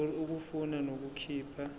ngur ukufuna nokukhipha